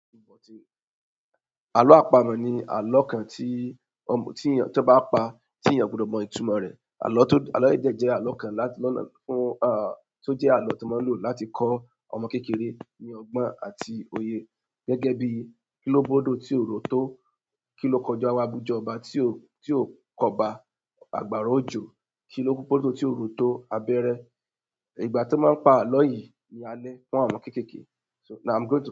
Àlọ́ àpamọ̀ ni àlọ́ kan tí ọ̀mù, tí èn, tí ọ bá pa, tí èyan kò gbudọ̀ mọ ìtumọ̀ rẹ̀. Àlọ́ tó, àlọ́ yìí dẹ jẹ àlọ́ kan láti, lá, fún, ah, tó jẹ́ àlọ́ tí wọ́n ń lò láti kọ́ ọmọ kékeré ní ọgbọ́n àti òye. Gẹ́gẹ́ bí, "Kí ló bódo tí ò ró tó? "Ki lo kọjá níwájú oba ti o ki oba?" Abara ojo kí ló púpó tó tí ò ró tó abẹ́rẹ́?" Ìgbà tí wọ́n ń pa àlọ́ yìí ni alẹ́ fún àwọn ọmọ kékeké. So now I'm going to.